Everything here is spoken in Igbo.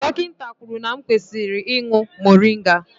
Dọkịta kwuru na m kwesịrị ị drinkụ moringa